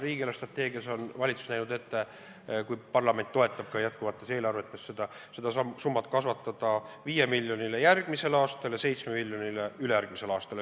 Riigi eelarvestrateegias on valitsus ette näinud – loodetavasti parlament toetab seda järgmises eelarvetes – kasvatada see summa 5 miljonini järgmisel aastal ja 7 miljonini ülejärgmisel aastal.